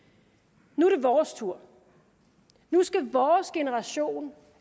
nu er det vores tur nu skal vores generation